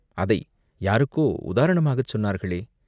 அதை யாருக்கோ உதாரணமாகச் சொன்னார்களே?